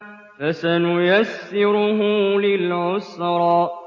فَسَنُيَسِّرُهُ لِلْعُسْرَىٰ